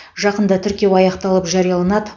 жақында тіркеу аяқталып жарияланады